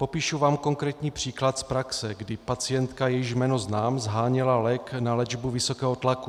Popíšu vám konkrétní příklad z praxe, kdy pacientka, jejíž jméno znám, sháněla lék na léčbu vysokého tlaku.